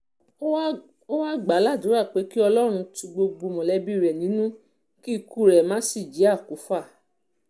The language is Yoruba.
ó wáá gbàdúrà pé kí ọlọ́run tu gbogbo mọ̀lẹ́bí rẹ̀ nínú kí ikú rẹ̀ má sì jẹ́ okùfà